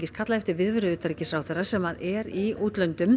kallað eftir viðveru utanríkisráðherra sem er í útlöndum